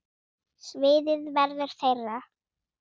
Sviðið verður þeirra.